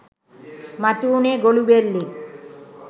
මතු වුණේ ගොළුබෙල්ලෙක්.